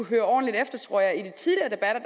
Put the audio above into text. høre ordentligt efter tror jeg i de tidligere debatter